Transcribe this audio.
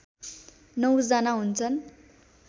९ जना हुन्छन्